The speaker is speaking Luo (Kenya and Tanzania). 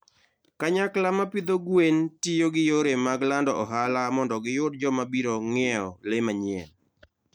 Kanyakla ma pidho gwen tiyo gi yore mag lando ohala mondo giyud joma biro ng'iewo le manyien.